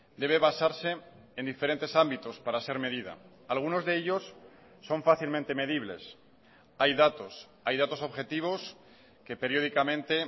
debe basarse en diferentes ámbitos para ser medida algunos de ellos son fácilmente medibles hay datos hay datos objetivos que periódicamente